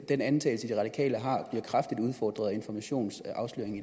den antagelse de radikale har bliver kraftigt udfordret af informations afsløring